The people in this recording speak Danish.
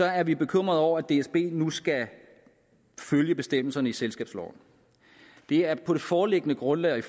er vi bekymrede over at dsb nu skal følge bestemmelserne i selskabsloven det er på det foreliggende grundlag og i